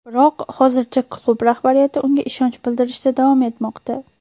Biroq hozircha klub rahbariyati unga ishonch bildirishda davom etmoqda.